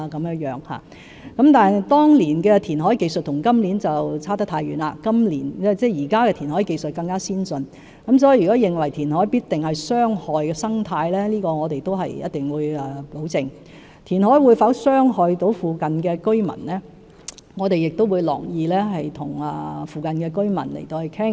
不過，當年的填海技術與現時的相差太遠，現時的填海技術更為先進，因此，如果認為填海必定會傷害生態，我們必定會保證不會這樣，而填海會否對附近居民造成傷害，我們亦樂意與附近居民討論。